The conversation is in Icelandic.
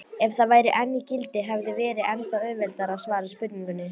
Ef það væri enn í gildi hefði verið ennþá auðveldara að svara spurningunni.